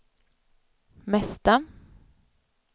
mesta